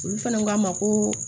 Olu fana k'a ma koo